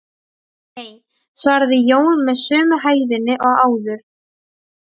Hvernig gengur ykkur annars að skilja sauðina frá höfrunum?